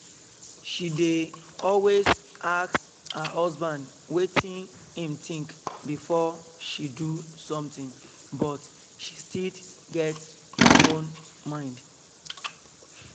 she dey always ask her husband wetin im think before she do something but she still get her own mind